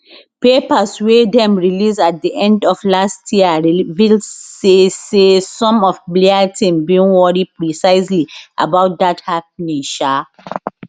papers wey dem release at di end of last year reveal say say some of blair team bin worry precisely about dat happening um